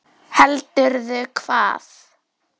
Heldur hvað?